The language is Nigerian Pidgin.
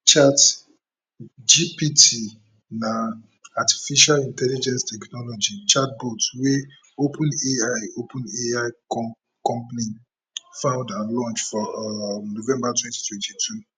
chatgpt na artificial intelligence technology chatbot wey openai openai company found and launch for um november twenty twenty two